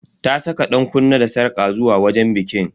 Ta saka dankunne da sarƙa zuwa wajen bikin.